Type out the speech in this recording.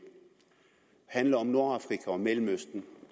handler om nordafrika og mellemøsten